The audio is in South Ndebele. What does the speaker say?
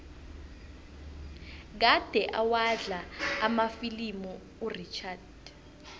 kade awadlala amafilimu urichard